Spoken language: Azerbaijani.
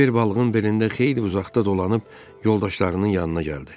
Kiver balığın belində xeyli uzaqda dolanıb yoldaşlarının yanına gəldi.